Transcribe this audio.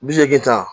Bi seegin ta